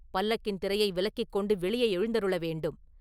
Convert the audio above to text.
பல்லக்கின் திரையை விலக்கிக் கொண்டு வெளியே எழுந்தருள வேண்டும்.